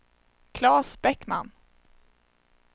Klas Bäckman